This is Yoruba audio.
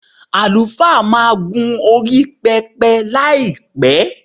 Àlùfáà máa gún orí pẹpẹ láìpẹ́.